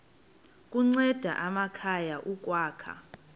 kunceda amakhaya ukwakha